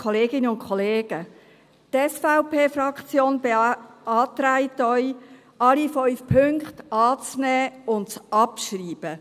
Die SVP-Fraktion beantragt Ihnen, alle 5 Punkte anzunehmen und abzuschreiben.